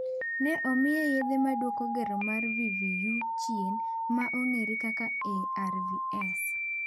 Ne omiye yedhe maduoko gero mar VVU chien, ma ong'ere kaka arvs.